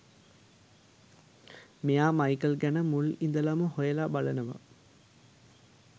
මේයා Michael ගැන මුල් ඉඳලම හොයලා බලනවා